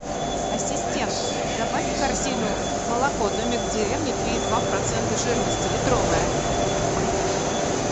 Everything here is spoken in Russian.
ассистент добавь в корзину молоко домик в деревне три и два процента жирности литровое